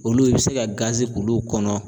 Olu i bi se ka k'olu kɔnɔ.